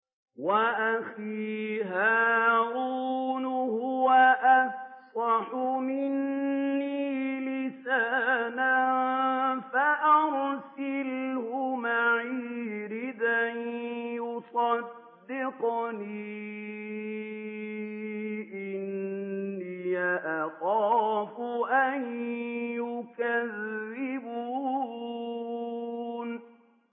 وَأَخِي هَارُونُ هُوَ أَفْصَحُ مِنِّي لِسَانًا فَأَرْسِلْهُ مَعِيَ رِدْءًا يُصَدِّقُنِي ۖ إِنِّي أَخَافُ أَن يُكَذِّبُونِ